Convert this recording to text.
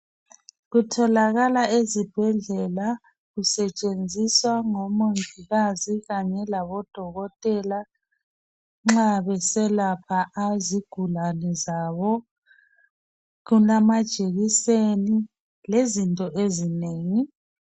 Kutholakala ezibhedlela kusetshenziswa ngomongikazi kanye labodokotela nxa beselapha izigulane zabo kulamajekiseni lezinto ezinengi.